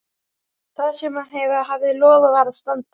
Það sem maður hafði lofað varð að standa.